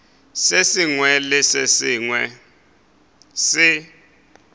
sengwe le se sengwe se